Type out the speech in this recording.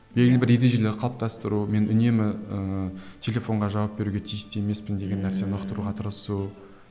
белгілі бір ережелер қалыптастыру мен үнемі ііі телефонға жауап беруге тиісті емеспін деген нәрсені ұқтыруға тырысу